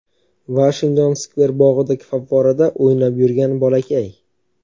Vashington-Skver bog‘idagi favvorada o‘ynab yurgan bolakay.